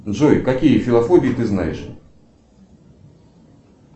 джой какие филофобии ты знаешь